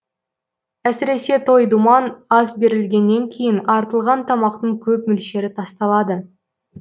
әсіресе той думан ас берілгеннен кейін артылған тамақтың көп мөлшері тасталады